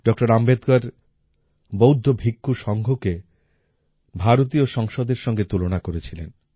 ডঃ আম্বেদকর বৌদ্ধ ভিক্ষু সংঘকে ভারতীয় সংসদের সাথে তুলনা করেছিলেন